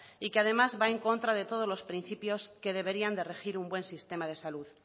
y que además va en contra de todos los principios que deberían de regir un buen sistema de salud